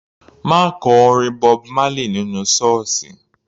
Ma kọ orin Bob Marley nínú sọ́ọ̀sì.